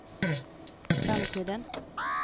framtiden